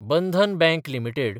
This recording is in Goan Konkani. Bandhan Bank limited